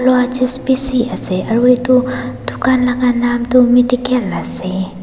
aru edu dukan la ka nam tu medical ase.